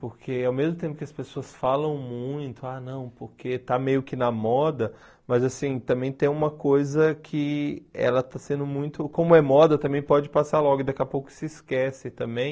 Porque ao mesmo tempo que as pessoas falam muito, ah não, porque está meio que na moda, mas assim, também tem uma coisa que ela está sendo muito... Como é moda, também pode passar logo e daqui a pouco se esquece também.